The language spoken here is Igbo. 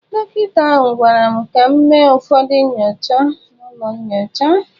Dọkịta ahụ gwara m ka m mee ụfọdụ nyocha n'ụlọ nyocha.